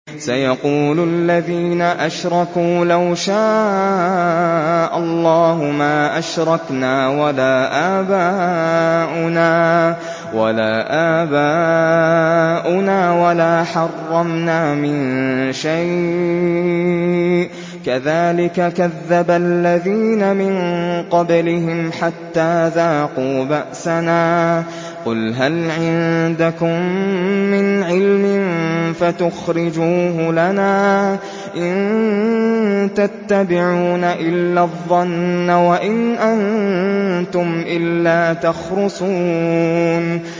سَيَقُولُ الَّذِينَ أَشْرَكُوا لَوْ شَاءَ اللَّهُ مَا أَشْرَكْنَا وَلَا آبَاؤُنَا وَلَا حَرَّمْنَا مِن شَيْءٍ ۚ كَذَٰلِكَ كَذَّبَ الَّذِينَ مِن قَبْلِهِمْ حَتَّىٰ ذَاقُوا بَأْسَنَا ۗ قُلْ هَلْ عِندَكُم مِّنْ عِلْمٍ فَتُخْرِجُوهُ لَنَا ۖ إِن تَتَّبِعُونَ إِلَّا الظَّنَّ وَإِنْ أَنتُمْ إِلَّا تَخْرُصُونَ